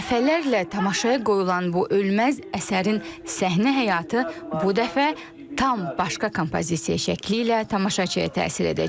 Dəfələrlə tamaşaya qoyulan bu ölməz əsərin səhnə həyatı bu dəfə tam başqa kompozisiya şəkli ilə tamaşaçıya təsir edəcək.